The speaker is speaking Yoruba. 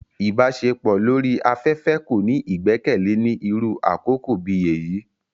Ìbaṣepọ lori afẹfẹ ko ni igbẹkẹle ni iru àkókó bi eyi.